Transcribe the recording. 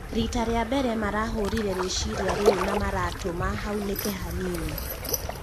Rita rĩa mbere marahũrire rĩciria rĩu na maratũma haũnĩke hanini